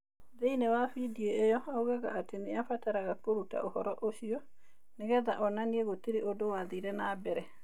Thĩinĩ wa video ĩyo, oigaga atĩ nĩ abataraga kũruta ũhoro ũcio "nĩgetha onanie gũtire ũndũ wathire na mbere".